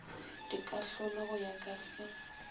dikahlolo go ya ka se